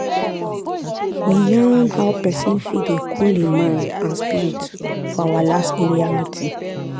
we yarn how pesin fit dey cool hin mind and spirit for our last area meeting.